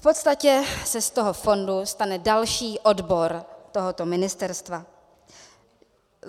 V podstatě se z toho fondu stane další odbor tohoto ministerstva.